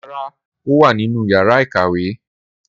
Rara, o wa ninu yara ikawe.